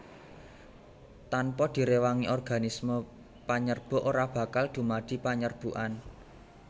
Tanpa direwangi organisme panyerbuk ora bakal dumadi panyerbukan